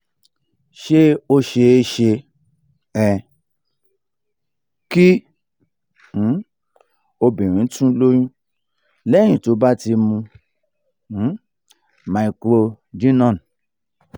ṣé ó ṣeé ṣe um kí um obìnrin tun lóyún lẹ́yìn tó bá ti mu um microgynon?